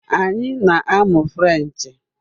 Anyị na-amụ Frenchee